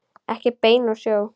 Ekki bein úr sjó.